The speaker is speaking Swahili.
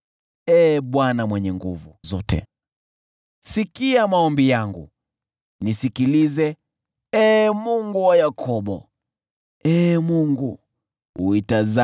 Ee Bwana Mungu Mwenye Nguvu Zote, sikia maombi yangu; nisikilize, Ee Mungu wa Yakobo.